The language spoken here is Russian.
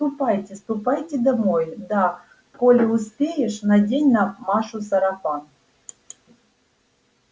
ступайте ступайте домой да коли успеешь надень на машу сарафан